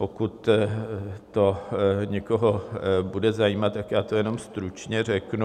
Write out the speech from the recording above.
Pokud to někoho bude zajímat, tak já to jenom stručně řeknu.